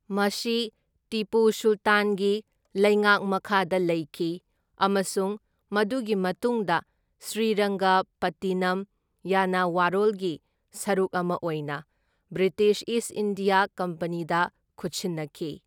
ꯃꯁꯤ ꯇꯤꯄꯨ ꯁꯨꯜꯇꯥꯟꯒꯤ ꯂꯩꯉꯥꯛ ꯃꯈꯥꯗ ꯂꯩꯈꯤ ꯑꯃꯁꯨꯡ ꯃꯗꯨꯒꯤ ꯃꯇꯨꯡꯗ ꯁ꯭ꯔꯤꯔꯪꯒꯄꯠꯇꯤꯅꯝ ꯌꯥꯅꯋꯥꯔꯣꯜꯒꯤ ꯁꯔꯨꯛ ꯑꯃ ꯑꯣꯏꯅ ꯕ꯭ꯔꯤꯇꯤꯁ ꯏꯁꯠ ꯏꯟꯗꯤꯌꯥ ꯀꯝꯄꯅꯤꯗ ꯈꯨꯠꯁꯤꯟꯅꯈꯤ꯫